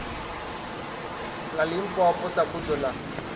ḽa limpopo sa buḓo ḽa